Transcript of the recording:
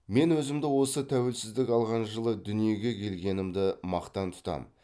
мен өзімді осы тәуелсіздік алған жылы дүниеге келгенімді мақтан тұтам